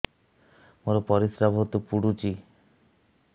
ମୋର ପରିସ୍ରା ବହୁତ ପୁଡୁଚି